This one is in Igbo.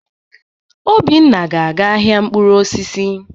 Obinna ga-aga ahịa mkpụrụ osisi.